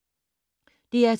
DR2